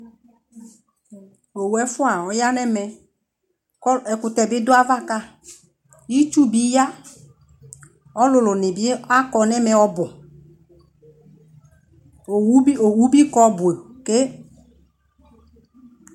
ɔwʋ ɛƒʋa ɔyanʋ ɛmɛ kʋ ɛkʋtɛ bi ɔdʋ aɣa ka, itsʋ bi ya, alʋlʋ nibi akɔ nʋ ɛmɛ ɔbʋ, ɔwʋ bi kɔ ɔbʋ kè